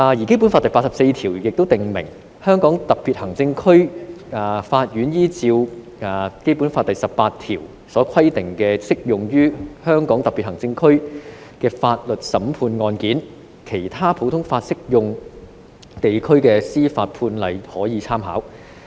"《基本法》第八十四條亦訂明："香港特別行政區法院依照本法第十八條所規定的適用於香港特別行政區的法律審判案件，其他普通法適用地區的司法判例可作參考。